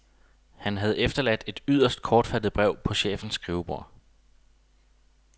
Han havde efterladt et yderst kortfattet brev på chefens skrivebord